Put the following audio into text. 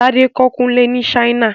Tádé kọ́ Kùnlé ni Ṣáínà